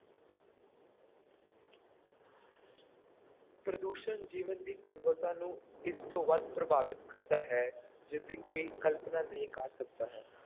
ਪ੍ਰਦੂਸ਼ਣ ਜੀਵਨ ਦੀ ਗੁਣਵੱਤਾ ਨੂੰ ਇਸ ਤੋਂ ਵੱਧ ਪ੍ਰਭਾਵਿਤ ਕਰਦਾ ਹੈ ਜਿਸਦੀ ਕੋਈ ਕਲਪਨਾ ਨਹੀਂ ਕਰ ਸਕਦਾ ਹੈ।